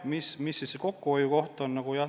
Mis siis see kokkuhoiu koht on?